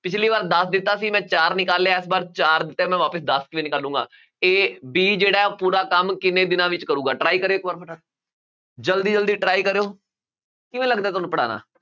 ਪਿੱਛਲੀ ਵਾਰ ਦਸ ਦਿੱਤਾ ਸੀ ਮੈਂ ਚਾਰ ਨਿਕਾਲਿਆ, ਇਸ ਵਾਰ ਚਾਰ ਦਿੱਤਾ ਹੈ ਮੈਂ ਵਾਪਸ ਦਸ ਕਿਵੇਂ ਨਿਕਾਲਾਂਗਾ a, b ਜਿਹੜਾ ਹੈ ਪੂਰਾ ਕੰਮ ਕਿੰਨੇ ਦਿਨਾਂ ਵਿੱਚ ਕਰੇਗਾ try ਕਰਿਓ ਇੱਕ ਜ਼ਲਦੀ ਜ਼ਲਦੀ try ਕਰਿਓ ਕਿਵੇਂ ਲੱਗਦਾ ਹੈ ਤੁਹਾਨੂੰ ਪੜ੍ਹਾਉਣਾ